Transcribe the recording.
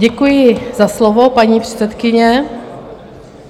Děkuji za slovo, paní předsedkyně.